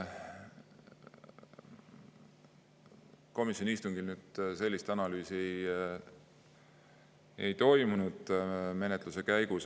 Komisjoni istungil sellist analüüsi menetluse käigus ei toimunud.